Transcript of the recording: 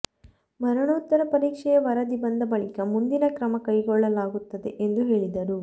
ಮರಣೋತ್ತರ ಪರೀಕ್ಷೆಯ ವರದಿ ಬಂದ ಬಳಿಕ ಮುಂದಿನ ಕ್ರಮ ಕೈಗೊಳ್ಳಲಾಗುತ್ತದೆ ಎಂದು ಹೇಳಿದರು